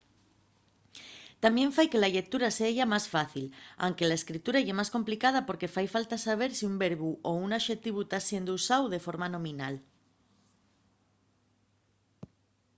tamién fai que la llectura seya más fácil anque la escritura ye más complicada porque fai falta saber si un verbu o un axetivu ta siendo usáu de forma nominal